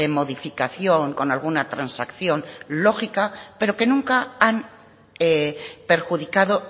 modificación con alguna transacción lógica pero que nunca han perjudicado